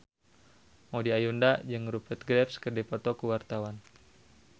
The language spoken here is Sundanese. Maudy Ayunda jeung Rupert Graves keur dipoto ku wartawan